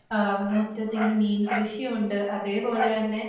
ആഹ് മുറ്റത്തിങ്ങനെയുണ്ട്. അതേപോലെ തന്നെ